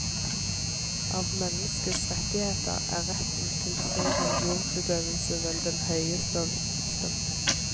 Av menneskets rettigheter er retten til fri religionsutøvelse vel den høyeste og viktigste.